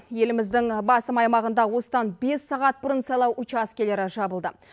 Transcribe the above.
еліміздің басым аймағында осыдан бес сағат бұрын сайлау учаскелері жабылды